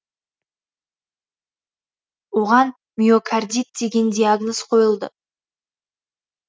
оған миокардит деген диагноз қойылды